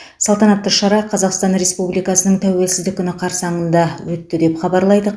салтанатты шара қазақстан республикасының тәуелсіздік күні қарсаңында өтті деп хабарлайды